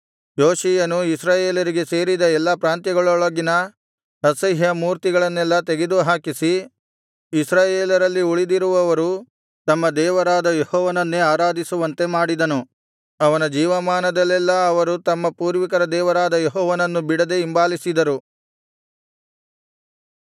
ಯೋಷೀಯನು ಇಸ್ರಾಯೇಲರಿಗೆ ಸೇರಿದ ಎಲ್ಲಾ ಪ್ರಾಂತ್ಯಗಳೊಳಗಿನ ಅಸಹ್ಯ ಮೂರ್ತಿಗಳನ್ನೆಲ್ಲಾ ತೆಗೆದುಹಾಕಿಸಿ ಇಸ್ರಾಯೇಲರಲ್ಲಿ ಉಳಿದಿರುವವರು ತಮ್ಮ ದೇವರಾದ ಯೆಹೋವನನ್ನೇ ಆರಾಧಿಸುವಂತೆ ಮಾಡಿದನು ಅವನ ಜೀವಮಾನದಲ್ಲೆಲ್ಲಾ ಅವರು ತಮ್ಮ ಪೂರ್ವಿಕರ ದೇವರಾದ ಯೆಹೋವನನ್ನು ಬಿಡದೆ ಹಿಂಬಾಲಿಸಿದರು